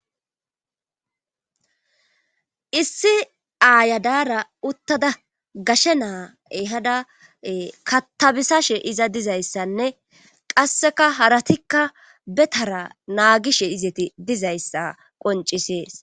issi aayadara uttada gashe naae hada katabisashe iza dizayssanne qasseka haratikka betara naagishe izeti dizayssa qoncisees